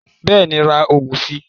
Bẹ́ẹ̀ni ra oògùn si